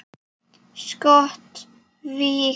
Skot: Vík.